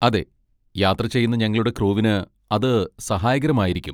അതെ, യാത്ര ചെയ്യുന്ന ഞങ്ങളുടെ ക്രൂവിന് അത് സഹായകരമായിരിക്കും.